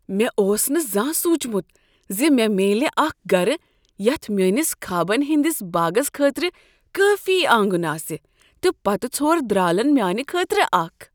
مےٚ اوس نہٕ زانہہ سوچمت زِ مےٚ میلِہ اکھ گرٕ یتھ میٲنس خوابن ہٕندس باغس خٲطرٕ کٲفی آنگن آسِہ، تہٕ پتہٕ ژھور درالن میانِہ خٲطرٕ اکھ!